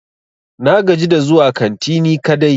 Na gaji da zuwa kanti ni kadai.